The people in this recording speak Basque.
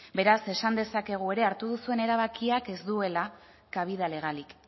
beraz esan dezakegu ere hartu duzuen erabakiak ez duela cabida legalik